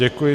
Děkuji.